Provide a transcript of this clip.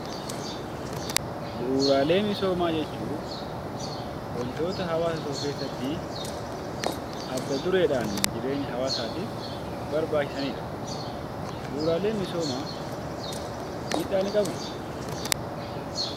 Bu'uuraalee misoomaa jechuun wantoota hawaasa tokko keessattii adda dureedhaan jireenya hawaasaatiif barbaachisanidha. Bu'uuraaleen misoomaa miidhaa ni qabuu?